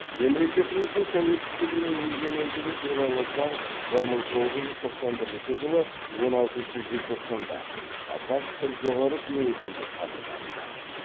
мемлекеттіміздің тәуелсіздігі мен егемендігі туралы заң бір мың тоғыз жүз тоқсан бірінші жылы он алтыншы желтоқсанда қазақ ср жоғары кеңесінде қабылданды